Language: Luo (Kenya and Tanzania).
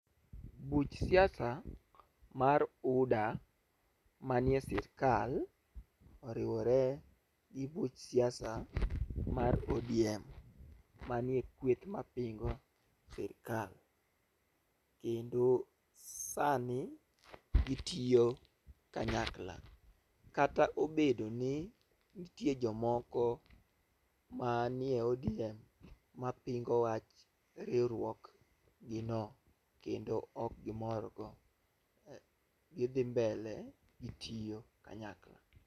Buch siasa mar UDA manie sirkal oriwore gi buch siasa mar ODM manie kweth mapingo sirkal kendo sani gitiyo kanyakla . Kata obedo ni ntie jomoko manie ODM mapingo wach riwruogni no kendo ok gimor go , gidhi mbele gitiyo kanyakla.